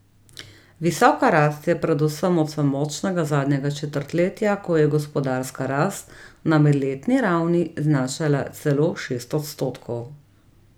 Visoka rast je predvsem odsev močnega zadnjega četrtletja, ko je gospodarska rast na medletni ravni znašala celo šest odstotkov.